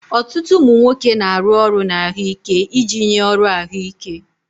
Ọtụtụ ụmụ nwoke na-arụ ọrụ na ahụike iji nye ọrụ ahụike.